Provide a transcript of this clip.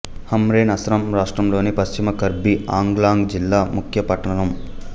హమ్రెన్ అస్సాం రాష్ట్రంలోని పశ్చిమ కర్బి ఆంగ్లాంగ్ జిల్లా ముఖ్య పట్టణం